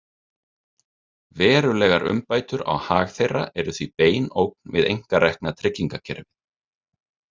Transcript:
Verulegar umbætur á hag þeirra eru því bein ógn við einkarekna tryggingakerfið.